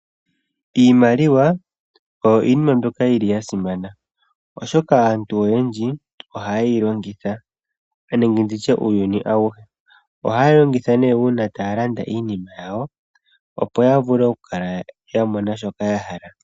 Iimaliwa oyo iinima mbyoka yasimana oshoka aantu oyendji ohaye yilongitha nenge nditye uuyuni awuhe. Ohaya longitha uuna taya landa iinima yawo opo yavule okukala yamona shoka yahala.